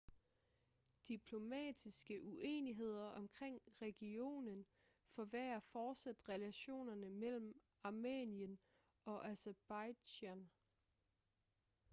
diplomatiske uenigheder omkring regionen forværrer fortsat relationerne mellem armenien og aserbajdsjan